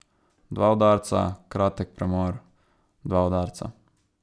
Dva udarca, kratek premor, dva udarca.